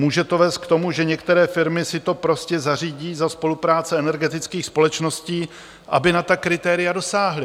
Může to vést k tomu, že některé firmy si to prostě zařídí za spolupráce energetických společností, aby na ta kritéria dosáhly.